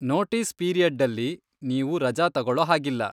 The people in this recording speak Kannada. ನೋಟೀಸ್ ಪೀರಿಯಡ್ಡಲ್ಲಿ ನೀವು ರಜಾ ತಗೊಳೊ ಹಾಗಿಲ್ಲ.